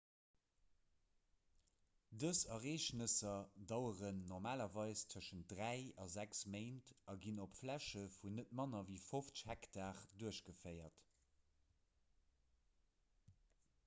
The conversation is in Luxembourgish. dës ereegnesser daueren normalerweis tëschent dräi a sechs méint a ginn op fläche vun net manner ewéi 50 hektar duerchgeféiert